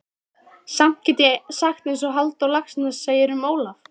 Samt get ég sagt einsog Halldór Laxness segir um Ólaf